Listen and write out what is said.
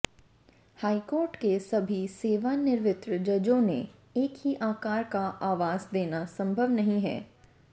high court के सभी सेवानिवृत्त जजों को एक ही आकार का आवास देना संभव नहीं है